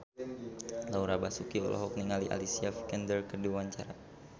Laura Basuki olohok ningali Alicia Vikander keur diwawancara